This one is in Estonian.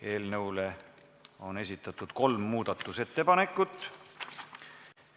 Eelnõule on esitatud kolm muudatusettepanekut.